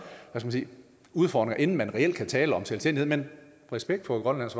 udfordringer inden man reelt kan tale om selvstændighed men respekt for grønlands